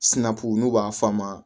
Sinaku n'u b'a f'a ma